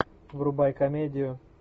врубай комедию